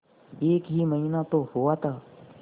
एक ही महीना तो हुआ था